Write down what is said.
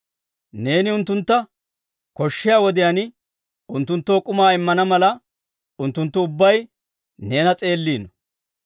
Neeni unttuntta koshshiyaa wodiyaan unttunttoo k'umaa immana mala, unttunttu ubbay neena s'eelliino.